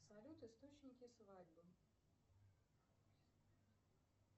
салют источники свадьбы